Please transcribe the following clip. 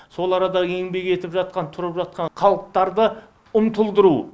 сол арадағы еңбек етіп жатқан тұрып жатқан халықты ұмтылдыру